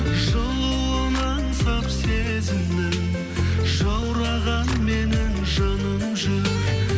жылуын аңсап сезімнің жаураған менің жаным жүр